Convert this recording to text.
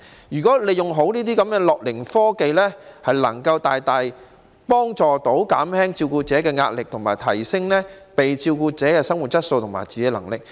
如果能夠善用樂齡科技，可以大大幫助減輕照顧者的壓力，亦可提升被照顧者的生活質素和自理能力。